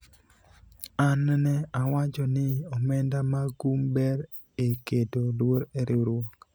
ana ne awacho ni omenda mag kum ber e keto luor e riwruok